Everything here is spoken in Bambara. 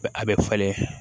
a bɛ falen